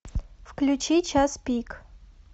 включи час пик